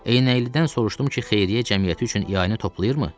Eynəklidən soruşdum ki, xeyriyyə cəmiyyəti üçün ianə toplayırmı?